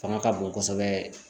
Fanga ka bon kosɛbɛ